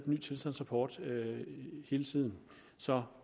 ny tilstandsrapport hele tiden så